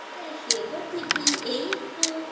সে তো ঠিকই সেই একটু